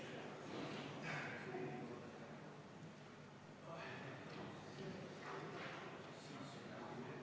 Ja viimane märkus: tahan siinkohal osutada teekasutustasu maksmise järelevalvele.